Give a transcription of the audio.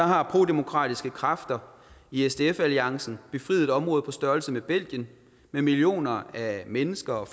har prodemokratiske kræfter i sdf alliancen befriet et område på størrelse med belgien med millioner af mennesker